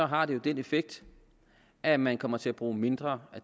har det den effekt at man kommer til at bruge mindre